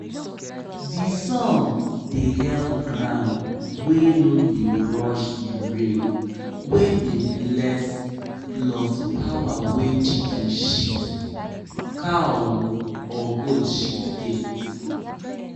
pikin dem follow for song wey dem been da sing wen dem da put goat shit for tins wey dem plant for school garden